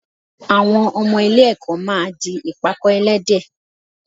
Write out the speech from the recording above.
Àwọn ọmọ ilé-ẹ̀kọ́ máa di ìpàkọ́ ẹlẹ́dẹ̀